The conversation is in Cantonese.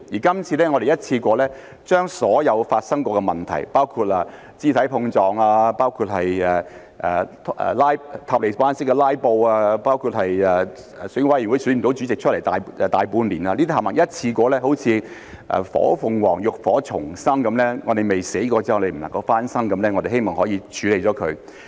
今次我們一次過把所有曾經發生的問題，包括肢體碰撞、"塔利班式"的"拉布"、內務委員會大半年無法選出主席，這些全部一次過好像火鳳凰浴火重生般，我們未死過便不能夠重生，我們希望可以把它們處理了。